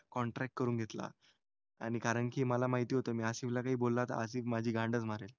Contract करून घेतला. आणि कारण की मला माहिती होतं मी आसिफला काही बोलला तर आसिफ माझी गांड मारेल.